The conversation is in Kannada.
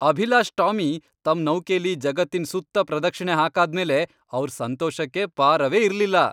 ಅಭಿಲಾಷ್ ಟಾಮಿ ತಮ್ ನೌಕೆಲಿ ಜಗತ್ತಿನ್ ಸುತ್ತ ಪ್ರದಕ್ಷಿಣೆ ಹಾಕಾದ್ಮೇಲೆ ಅವ್ರ್ ಸಂತೋಷಕ್ಕೆ ಪಾರವೇ ಇರ್ಲಿಲ್ಲ.